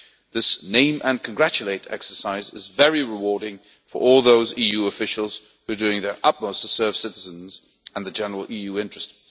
This name and congratulate' exercise is very rewarding for all those EU officials who are doing their utmost to serve citizens and the general EU interest.